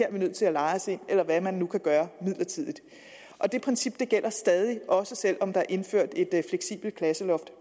er vi nødt til at leje os ind eller hvad man nu kan gøre midlertidigt det princip gælder stadig også selv om der er indført et fleksibelt klasseloft